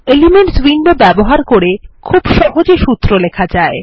elements window ব্যবহার করে খুব সহজে সুত্র লেখা যায়